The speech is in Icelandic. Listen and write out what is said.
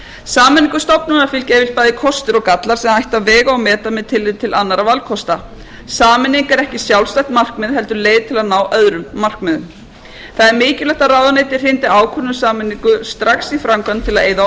sameiningu stofnana fylgja bæði kostir og gallar sem ætti að vega og meta með tilliti til annarra valkosta sameining er ekki sjálfstætt markmið heldur leið til að ná öðrum markmiðum það er mikilvægt að ráðuneyti hrindi ákvörðun um sameining strax í framkvæmd til að eyða